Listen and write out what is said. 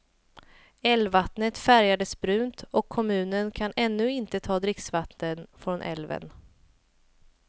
Älvvattnet färgades brunt och kommunen kan ännu inte ta dricksvatten från älven.